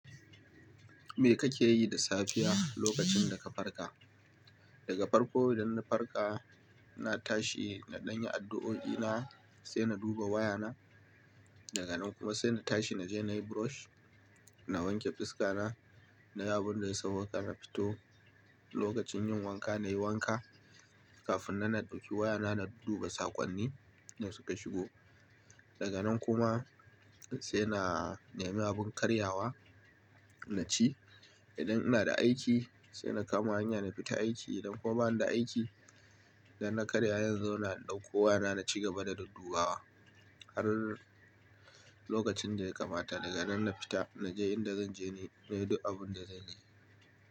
Me kake yi da safiya lokacin da ka farka? Daga farko idan na farka, na tashi na ɗanyi addu'o'i na, sai na duba waya na. Daga nan kuma sai na tashi na je na yi brush, na wanke fuska na, na yi abun da ya sauwaƙa na fito. Lokacin yin wanka na yi wanka. Kafin nan naɗauki waya na, na duba saƙonni da suka shigo. Daga nan kuma sai na nema abin karyawa na ci. Idan ina da aiki sai na kama hanya na fita aiki. Idan kuma bani da aiki, idan na karya zan zauna na ɗauko waya na, na ci gaba da duddubawa har lokacin da ya kamata. Daga nan na fita na je inda zan je, na yi duk abin da zanyi.